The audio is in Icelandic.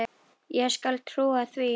Ég skal trúa því.